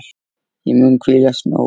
Ég mun hvílast nóg.